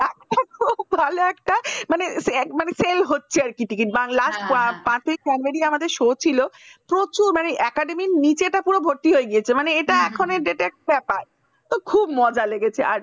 খুব ভালো একটা মানে মানে sell হচ্ছে আর কি আর ticket বাংলা পাতি comedian আমাদের show ছিল প্রচুর মানে academy নিচেটা পুরো ভর্তি হয়ে গেছে। মানে এটা এখনই updated ব্যাপার তো খুব মজা লেগেছে